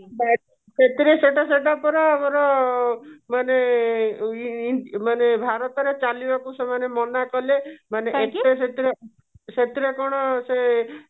ସେଥିରେ ସେଇଟା ସେଇଟା ପରା ମାନେ ମାନେ ଭାରତରେ ଚାଲିବାକୁ ସେମାନେ ମନା କଲେ ସେଥିରେ କଣ ସେ